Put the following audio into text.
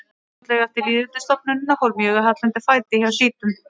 Fljótlega eftir lýðveldisstofnunina fór mjög að halla undan fæti hjá sjítum.